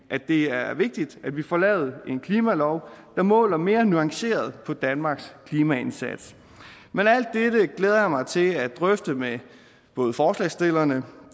det er vigtigt at vi får lavet en klimalov der måler mere nuanceret på danmarks klimaindsats men alt dette glæder jeg mig til at drøfte med både forslagsstillerne